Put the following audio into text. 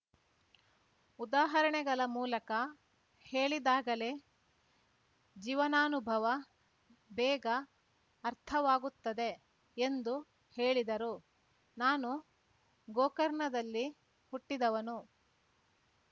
ಉದಾಹರಣೆಗಳ ಮೂಲಕ ಹೇಳಿದಾಗಲೇ ಜೀವನಾನುಭವ ಬೇಗ ಅರ್ಥವಾಗುತ್ತದೆ ಎಂದು ಹೇಳಿದರು ನಾನು ಗೋಕರ್ಣದಲ್ಲಿ ಹುಟ್ಟಿದವನು